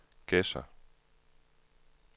Gedser